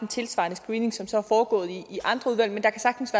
en tilsvarende screening som så er foregået i andre udvalg men der kan sagtens